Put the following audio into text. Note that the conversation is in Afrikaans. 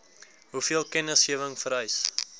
hoeveel kennisgewing vereis